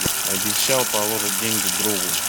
обещал положить деньги другу